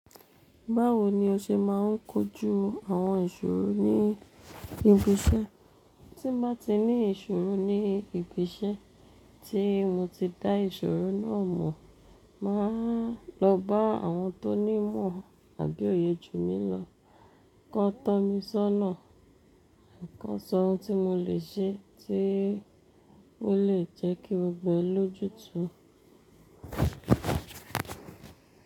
Báwo ni o ṣe máà ń kojú àwọn ìṣòro ní ibi iṣẹ́? Tí bá ti ní ìṣòro ní ibi iṣẹ́ tí mo ti dá ìṣòro náà mọ̀, màá lọ bá àwọn tó ní ìmọ̀ àbí òye jù mí lọ. Kọ̀ tọ́ mi sọ́nà, kọ̀ sọ ohun tí mo lè ṣe tí ó lè jẹ́kí gbogbo ẹ̀ lójútú.